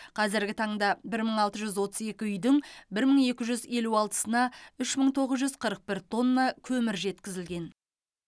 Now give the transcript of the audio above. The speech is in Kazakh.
қазіргі таңда бір мың алты жүз отыз екі үйдің бір мың екі жүз елу алтысына үш мың тоғыз жүз қырық бір тонна көмір жеткізілген